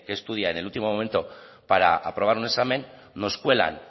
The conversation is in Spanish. que estudia en el último momento para aprobar un examen nos cuelan